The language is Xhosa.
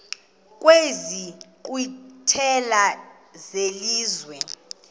kwezi nkqwithela zelizwe